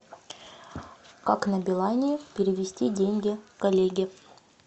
как на билайне перевести деньги коллеге